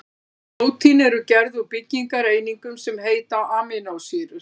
Prótín eru gerð úr byggingareiningum sem heita amínósýrur.